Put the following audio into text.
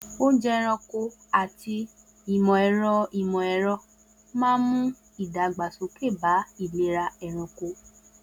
Oúnjẹ ẹranko àti ìmọ̀ ẹ̀rọ ìmọ̀ ẹ̀rọ máa ń mú ìdàgbàsókè bá ìlera ẹranko.